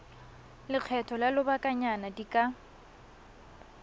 lekgetho la lobakanyana di ka